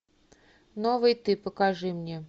новый ты покажи мне